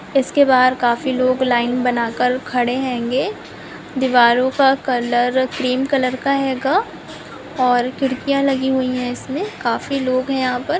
इसके बहार काफी लोग लाइन बना के खड़े हेंगे दीवारों का कलर क्रीम कलर का हैगा और खिड़कियां लगी हुई हैं इसमें काफी लोग हैं यहाँ पर--